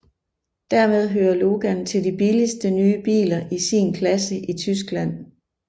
Dermed hører Logan til de billigste nye biler i sin klasse i Tyskland